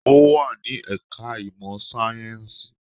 Ó wà ní ẹ̀ka ìmọ̀ sáyẹ́ǹsì